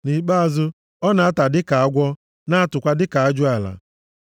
Nʼikpeazụ, ọ na-ata dịka agwọ na-atụkwa dịka ajụala.